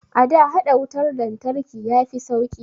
A da, haɗa wutar lantarki ya fi sauƙi